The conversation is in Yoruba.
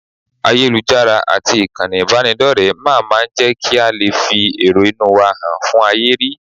Ayélujára àti ìkànnì ìbánidọ́rẹ̀ẹ́ máa máa ń jẹ́ kí a lè fi èrò inú wa han fún ayé rí